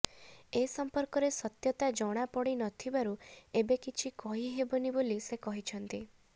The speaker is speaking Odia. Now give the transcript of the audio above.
ଏ ସମ୍ପର୍କରେ ସତ୍ୟତା ଜଣାପଡି ନ ଥିବାରୁ ଏବେ କିଛି କହିହେବନି ବୋଲି ସେ କହିଛନ୍ତି